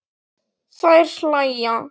Þær hlæja.